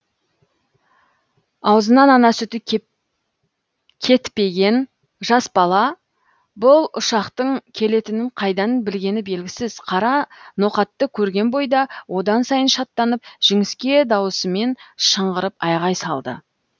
аузынан ана сүті кетпеген жас бала бұл ұшақтың келетінін қайдан білгені белгісіз қара ноқатты көрген бойда одан сайын шаттанып жіңішке дауысымен шыңғырып айғай салады